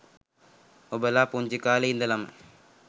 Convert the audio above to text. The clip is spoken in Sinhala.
ඔබලා පුංචි කාලෙ ඉඳලම